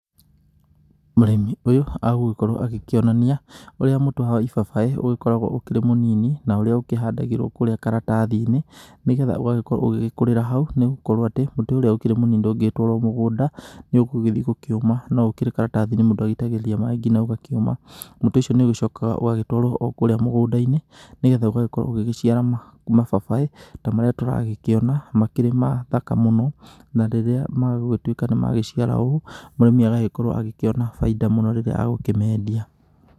Mũrĩmi ũyũ agũgĩkorwo agĩkĩonania ũrĩa mũtĩ wa ibabaĩ ũgĩkoragwo ũkĩrĩ mũnini, na ũrĩa ũkĩhandagĩrwo kũrĩa karatathi-inĩ. Nĩgetha ũgagĩkorwo ũgĩgĩkũrĩra hau, nĩgokorwo atĩ mũtĩ ũrĩa ũkĩrĩ mũnini ndũngĩgĩtwarwo mũgũnda, nĩũgũgĩthiĩ gũkĩũma, no ũkĩrĩ karatathi-inĩ mũndũ agĩitagĩrĩria maĩ nginya ũgakĩũma. Mũtĩ ũcio nĩũgĩcokaga ũgagĩtwarwo o kũrĩa mũgũnda-inĩ, nĩgetha ũgagĩkorwo ũgĩgĩciara mababaĩ ta marĩa tũragĩkĩona makĩrĩ mathaka mũno. Na rĩrĩa magũgĩtuĩka nĩmagĩciara ũũ, mũrĩmi agagĩkorwo agĩkĩona bainda mũno rĩrĩa agũkĩmendia.